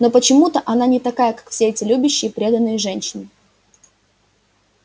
но почему она не такая как все эти любящие преданные женщины